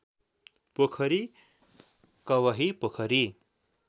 पोखरी कवही पोखरी